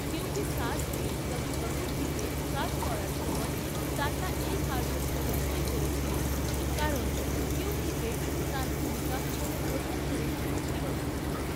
কিঁউকি সাস ভি কাভি বাহু থি'তে কাজ করার সময় তান্না এই কার্যক্রমে সই করেছিলেন, কারণ 'কিঁউকি'তে তাঁর ভূমিকা কোনও প্রধান চরিত্রের ছিল না।